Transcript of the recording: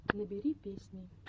набери песни